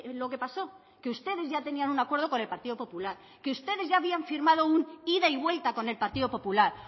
lo que pasó que ustedes ya tenían un acuerdo con el partido popular que ustedes ya habían firmado un ida y vuelta con el partido popular